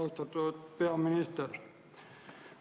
Austatud peaminister!